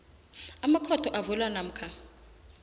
amakhotho avulwa namkha